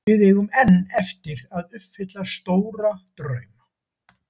Við eigum enn eftir að uppfylla mjög stóra drauma.